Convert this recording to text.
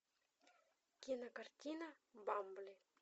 кинокартина бамбли